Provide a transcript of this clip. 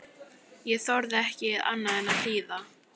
Ég þorði ekki annað en að hlýða.